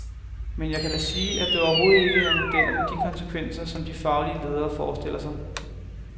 Men jeg kan da sige, at det overhovedet ikke er modeller med de konsekvenser, som de faglige ledere forestiller sig.